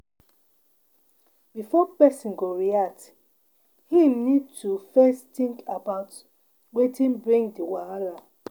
Before person go react, im need to first think about wetin bring di wahala